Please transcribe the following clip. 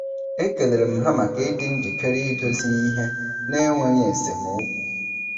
Ekelere m ha maka ịdị njikere idozi ihe n'enweghị esemokwu.